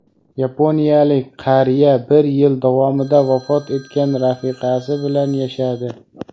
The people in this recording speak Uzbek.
Yaponiyalik qariya bir yil davomida vafot etgan rafiqasi bilan yashadi.